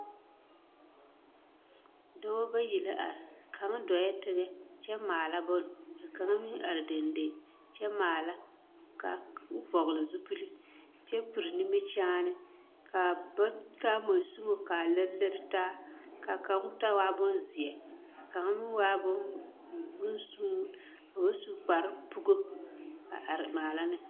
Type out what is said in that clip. Dɔba bayi la are kaŋ dɔɛ teŋɛ kyɛ maala bonne ka kaŋ meŋ are deŋdeŋ kyɛmaala ka o vɔgle zupili kyɛ piri nimikyaane ka ba taa mansunmo ka a lere lere taa ka kaŋ ta waa bonzeɛ kaŋ meŋ waa bonsun ka ba su kaprepugo a are maala ne.